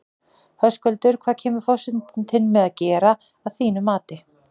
Höskuldur, hvað kemur forsetinn til með að gera að þínu mati?